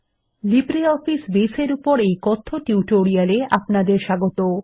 LibreOffice Base এর উপর এই কথ্য টিউটোরিয়ালে আপনাদের স্বাগত